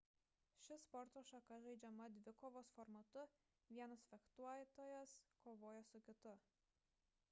ši sporto šaka žaidžiama dvikovos formatu vienas fektuotojas kovoja su kitu